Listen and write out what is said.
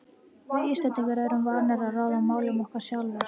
Við Íslendingar erum vanir að ráða málum okkar sjálfir.